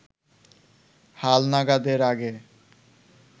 হালনাগাদের আগে